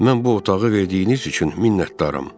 Mən bu otağı verdiyiniz üçün minnətdaram.